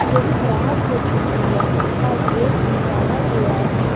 जो खराब हो चुकी है उसका गेट निकाला गया है।